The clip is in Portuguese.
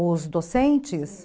Os docentes?